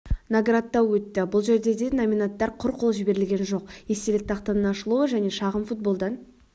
наградтау өтті бұл жерде де номинанттар құр қол жіберілген жоқ естелік тақтаның ашылуы және шағын-футболдан